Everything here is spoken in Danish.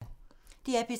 DR P3